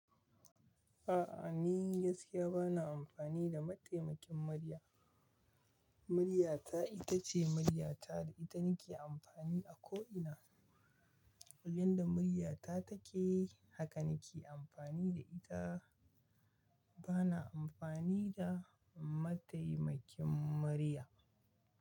A'a ni gaskiya bana amfani da mataimakin murya. Muryata ita ce muryata da ita nake amfani a ko ina. Yanda muryata take haka nake amfani da ita. Bana amfani da mataimakin murya.